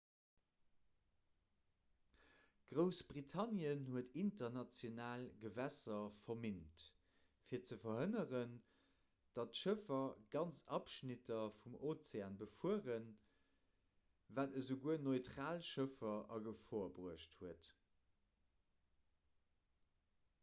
groussbritannien huet international gewässer verminnt fir ze verhënneren datt schëffer ganz abschnitter vum ozean befueren wat esouguer neutral schëffer a gefor bruecht huet